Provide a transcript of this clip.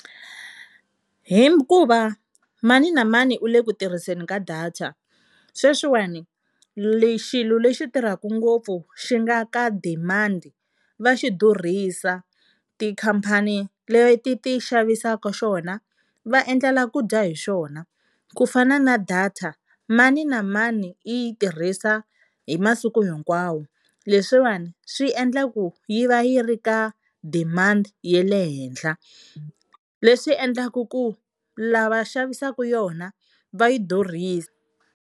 Hikuva mani na mani u le ku tirhiseni ka data, sweswiwani xilo lexi tirhaka ngopfu xi nga ka demand va xi durhisa, tikhampani leti ti xavisaka xona va endlela ku dya hi xona ku fana na data mani na mani i yi tirhisa hi masiku hinkwawo. Leswiwani swi endla ku yi va yi ri ka demand ya le henhla leswi endlaku ku lava xavisaka yona va yi durhisa.